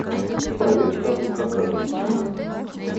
проверь статус заказа